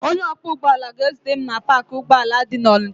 Onye ọkwọ ụgbọala ga-ezute m na paakị ụgbọala dị n'Ọnịcha.